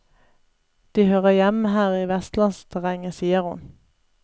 De hører hjemme her i vestlandsterrenget, sier hun.